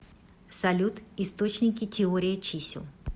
салют источники теория чисел